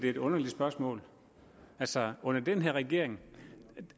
et underligt spørgsmål altså under den her regering